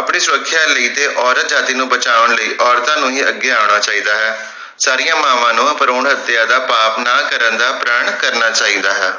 ਆਪਣੀ ਸੁਰਖਿਆ ਲਈ ਤੇ ਔਰਤ ਜਾਤਿ ਨੂੰ ਬਚਾਉਣ ਲਈ ਔਰਤਾਂ ਨੂੰ ਹੀ ਅੱਗੇ ਆਉਣਾ ਚਾਹੀਦਾ ਹੈ ਸਾਰੀਆਂ ਮਾਵਾਂ ਨੂੰ ਭਰੂਣ ਹਤਿਆ ਦਾ ਪਾਪ ਨਾ ਕਰਨ ਦਾ ਪ੍ਰਣ ਕਰਨਾ ਚਾਹੀਦਾ ਹੈ